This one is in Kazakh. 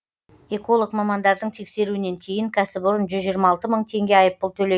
эколог мамандардың тексеруінен кейін кәсіпорын жүз жиырма алты мың теңге айыппұл төле